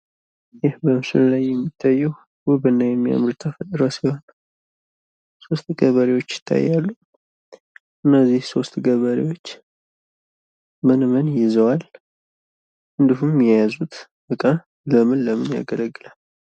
ይህ በምስሉ የሚታየው ውብና የሚያምር የተፈጥሮ ስራ ሶስት ገበሬዎች ይታያሉ። እነዚህ ሶስትገበሬዎች ምን ምን ይዘዋል? እንዲሁም የያዙት ዕቃ ለምን ለምን ያገለግላል?